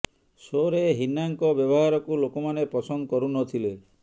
ସୋରେ ହିନା ଙ୍କ ବ୍ୟବହାରକୁ ଲୋକମାନେ ପସନ୍ଦ କରୁ ନଥିଲେ